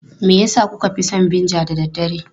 Me yasa kuka fi son vinegar da dare?